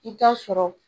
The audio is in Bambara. I bi t'a sɔrɔ